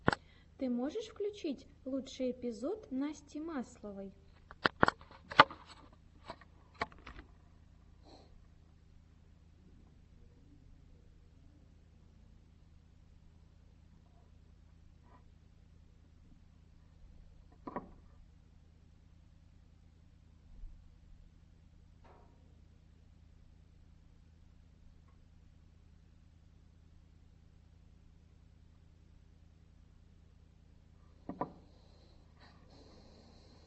ты можешь включить лучший эпизод насти масловой